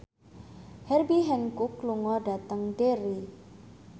Herbie Hancock lunga dhateng Derry